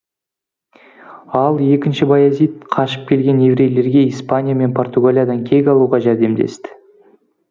ал іі баязид қашып келген еврейлерге испания мен португалиядан кек алуға жәрдемдесті